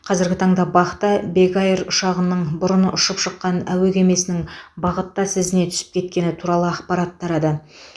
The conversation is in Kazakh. қазіргі таңда бақ та бек эйр ұшағының бұрын ұшып шыққан әуе кемесінің бағыттас ізіне түсіп кеткені туралы ақпарат тарады